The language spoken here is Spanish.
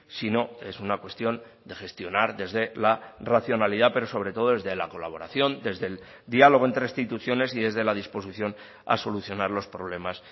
sino es una cuestión de gestionar desde la racionalidad pero sobre todo desde la colaboración desde el diálogo entre instituciones y desde la disposición a solucionar los problemas